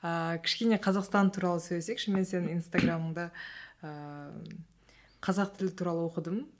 ааа кішкене қазақстан туралы сөйлесейікші мен сенің инстаграмыңда ыыы қазақ тілі туралы оқыдым